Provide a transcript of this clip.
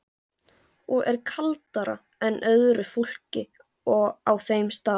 Og er kaldara en öðru fólki á þeim stað.